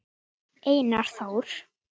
Einar Þór.